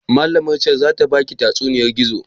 Malamar can zata baki tatsuniyar gizo?